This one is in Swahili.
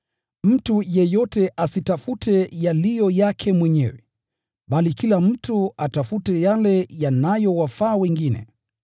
Mtu yeyote asitafute yaliyo yake mwenyewe, bali kila mtu atafute yale yanayowafaa wengine.